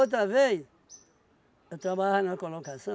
vez, eu trabalhava numa colocação,